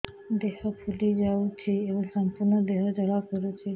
ଦେହ ଫୁଲି ଯାଉଛି ଏବଂ ସମ୍ପୂର୍ଣ୍ଣ ଦେହ ଜ୍ୱାଳା କରୁଛି